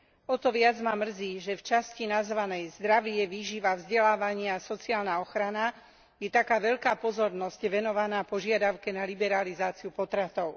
O to viac ma mrzí, že v časti nazvanej Zdravie, výživa, vzdelávanie a sociálna ochrana je taká veľká pozornosť venovaná požiadavke na liberalizáciu potratov.